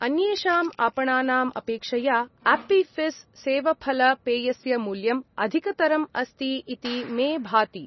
अन्येषाम् आपणानाम् अपेक्षया आप्पि फिस्स् सेवफल पेयस्य मूल्यम् अधिकतरम् अस्ति इति मे भाति।